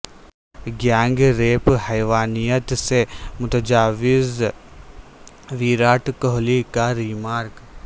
gang rape حیوانیت سے متجاوز ویراٹ کوہلی کا ریمارک